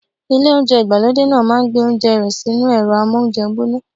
Ilé oúnjẹ ìgbàlódé náà ma gbé oúnjẹ rẹ sínú ẹ̀rọ́ amóúnjẹ gbóná.